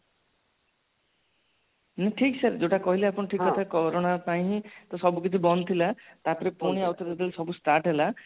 ଠିକ sir sir ଠିକ କଥା କାରୋନା ପାଇଁ ହିଁ ସବୁ କିଛି ବନ୍ଦଥିଲା ତାପରେ ପୁଣି ଆଉ ଥରେ ଯୋଉ start ହେଲା